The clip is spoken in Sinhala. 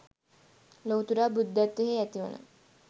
ලොවුතුරා බුද්ධත්වයෙහි ඇතිවන